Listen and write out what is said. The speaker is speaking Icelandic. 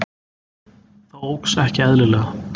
Það óx ekki eðlilega.